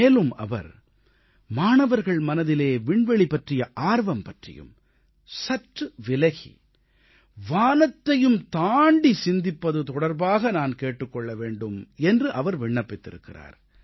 மேலும் அவர் மாணவர்கள் மனதிலே விண்வெளி பற்றிய ஆர்வம் பற்றியும் சற்று விலகி வானத்தையும் தாண்டி சிந்திப்பது தொடர்பாக நான் கேட்டுக் கொள்ள வேண்டும் என்று அவர் விண்ணப்பித்திருக்கிறார்